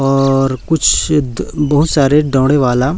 और कुछ बहुत सारे दौड़े वाला--